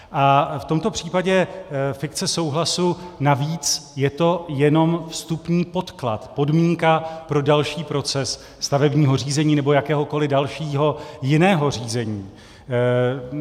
A v tomto případě fikce souhlasu, navíc, je to jenom vstupní podklad, podmínka pro další proces stavebního řízení nebo jakéhokoli dalšího jiného řízení.